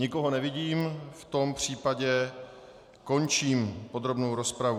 Nikoho nevidím, v tom případě končím podrobnou rozpravu.